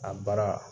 A baara